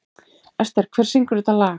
Ester, hver syngur þetta lag?